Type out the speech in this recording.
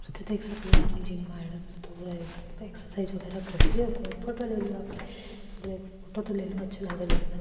देख सको आदमी जिम माँ फोटो ले रो फोटो तो अच्छा लागरो --